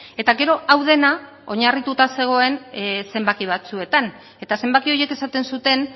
eta gero hau dena oinarrituta zegoen zenbaki batzuetan eta zenbaki horiek esaten zuten